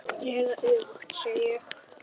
Eða öfugt, segi ég.